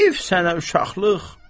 Heyf sənə uşaqlıq.